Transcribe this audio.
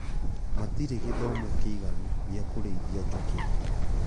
Matirĩ gĩthomo kĩiganu gĩakũrĩithia njũkĩ